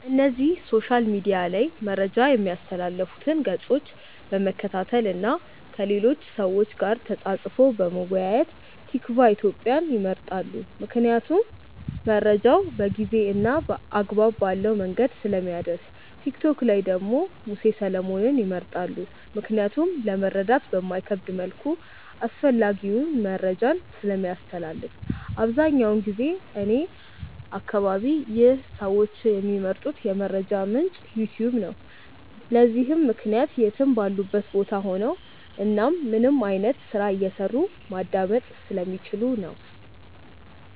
እነዚህ ሶሻል ሚድያ ላይ መረጃ ሚያስተላልፉትን ገፆች በመከታተል እና ከሌሎች ሰዎች ጋር ተፃፅፎ በመወያየት። ቲክቫ ኢትዮጵያን ይመርጣሉ ምክንያቱም መረጃውን በጊዜ እና አግባብ ባለው መንገድ ስለሚያደርስ። ቲክቶክ ላይ ደግሞ ሙሴ ሰለሞንን ይመርጣሉ ምክንያቱም ለመረዳት በማይከብድ መልኩ አስፈላጊውን መረጃን ስለሚያስተላልፍ። አብዛኛውን ጊዜ እኔ አከባቢ ይህ ሰዎች ሚመርጡት የመረጃ ምንጭ "ዩትዩብ" ነው። ለዚህም ምክንያት የትም ባሉበት ቦታ ሆነው እናም ምንም አይነት ስራ እየሰሩ ማዳመጥ ስለሚችሉ ነው።